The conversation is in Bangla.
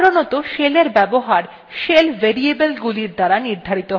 সাধারনতঃ শেলের এর ব্যবহার shell variable গুলির দ্বারা নির্ধারিত হয়